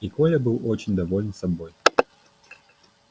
и коля был очень доволен собой